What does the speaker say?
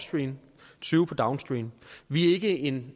tyve på downstream vi er ikke en